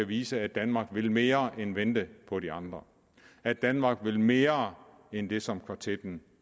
vise at danmark vil mere end vente på de andre at danmark vil mere end det som kvartetten